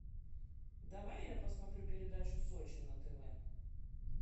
давай я посмотрю передачу сочи на тв